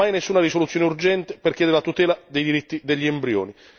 Mai, nessuna risoluzione urgente per chiedere la tutela dei diritti degli embrioni.